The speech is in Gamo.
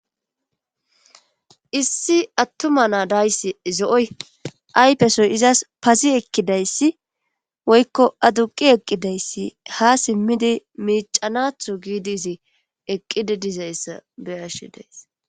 issi attuma na dayssi zo7oy aypesoy izas pasi ekkidayssi woykko aduqi eqqidayssi ha simmidi miicanatho giidizi eqqidi dizayssa beyashi deyss